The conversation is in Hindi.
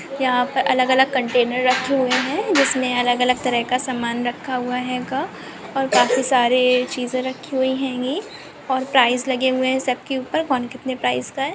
यंहा पर अलग-अलग कन्टैनर रखे हुए है जिसमे अलग-अलग तरह का सामान रखा हुआ हैगा और काफी सारे चीज रखी हुई हैनगी ओर प्राइस लगे हुए है सबके ऊपर कोन कितने प्राइस का है।